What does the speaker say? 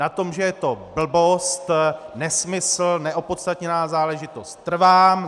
Na tom, že je to blbost, nesmysl, neopodstatněná záležitost, trvám.